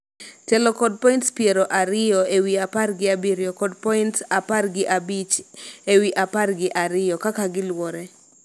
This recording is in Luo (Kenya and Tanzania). telo kod points piero ariyo ewi apar gi abiriyo kod points apar gi abich ewi apar gi ariyo kaka giluwore